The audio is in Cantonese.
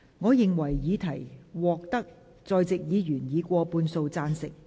我認為議題獲得在席議員以過半數贊成。